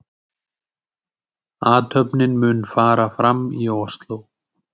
Athöfnin mun fara fram í Ósló